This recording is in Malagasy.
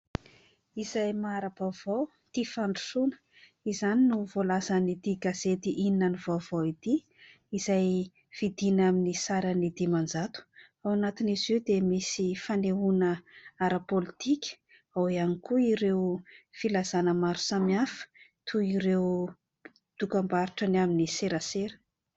"Izay mahara-baovao, tia fandrosoana" izany no voalazan'ity gazety: "Inona ny vaovao?" ity; izay vidiana amin'ny sarany dimanjato; ao anatin'izy io dia misy fanehoana ara-politika, ao ihany koa ireo filazana maro samihafa toy: ireo dokam-barotra ny amin'ny serasera.